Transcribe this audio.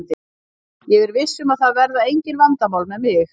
Ég er viss um að það verða engin vandamál með mig.